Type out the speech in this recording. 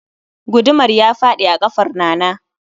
Gudumar ya fadi a kafar Nana